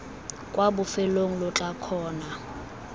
kwa bofelong lo tla kgona